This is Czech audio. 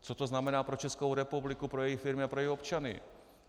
Co to znamená pro Českou republiku, pro její firmy a pro její občany?